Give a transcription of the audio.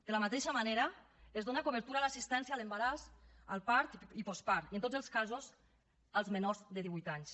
de la mateixa manera es dona cobertura a l’assistència a l’embaràs al part i postpart i en tots els casos als menors de divuit anys